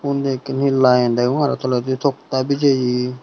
undi eken hi line degong aro toledi toktta bejeye.